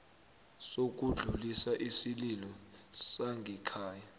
sokudlulisa isililo sangekhaya